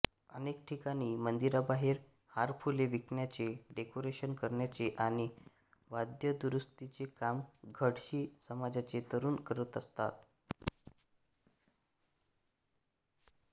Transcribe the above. अनेक ठिकाणी मंदिराबाहेर हारफुले विकण्याचे डेकोरेशन करण्याचे आणि वाद्यदुरुस्तीचे काम घडशी समाजाचे तरुण करताना दिसतात